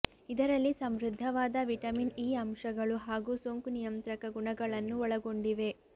ಇದರಲ್ಲಿ ಸಮೃದ್ಧವಾದ vitamin E ಅಂಶಗಳು ಹಾಗೂ ಸೋಂಕು ನಿಯಂತ್ರಕ ಗುಣಗಳನ್ನು ಒಳಗೊಂಡಿವೆ